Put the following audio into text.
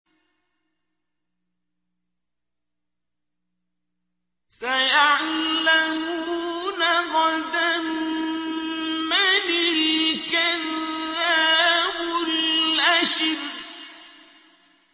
سَيَعْلَمُونَ غَدًا مَّنِ الْكَذَّابُ الْأَشِرُ